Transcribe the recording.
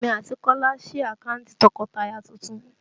Èmi àti Kola sí àkántì tọkọtaya tuntun